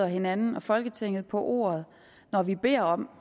hinanden og folketinget på ordet når vi beder om